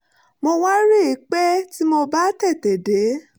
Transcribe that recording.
mo wá rí i pé tí mo bá tètè dé